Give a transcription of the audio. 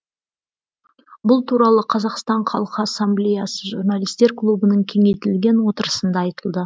бұл туралы қазақстан халқы асамблеясы журналистер клубының кеңейтілген отырысында айтылды